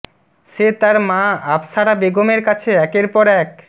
সে তার মা আফসারা বেগমের কাছে একের পর এক